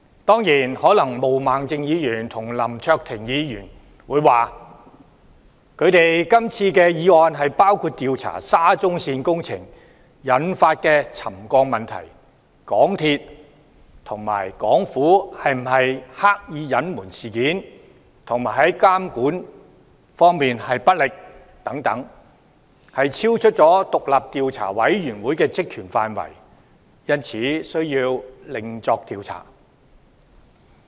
當然，毛孟靜議員與林卓廷議員可能會說，他們今次的議案包括調查沙中線工程引起的沉降問題、港鐵公司和港府有否刻意隱瞞事件和監管不力等，超出獨立調查委員會的職權範圍，因此需要另作調查。